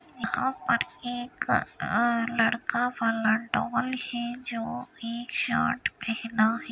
यहाँ पर अ एक लड़का वाला डाल है जोकि की शर्ट पहना हैँ।